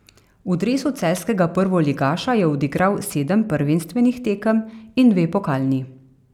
V dresu celjskega prvoligaša je odigral sedem prvenstvenih tekem in dve pokalni.